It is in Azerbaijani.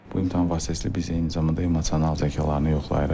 Bu imtahan vasitəsilə biz eyni zamanda emosional zəkalarını yoxlayırıq.